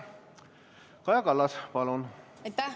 Kaja Kallas, palun!